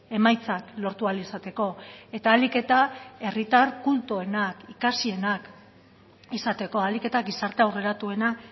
emaitzak lortu ahal izateko eta ahalik eta herritar kultuenak ikasienak izateko ahalik eta gizarte aurreratuena